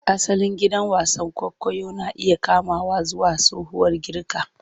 Asalin gidan wasan kwaikwayo na iya komawa zuwa tsohuwar Girka.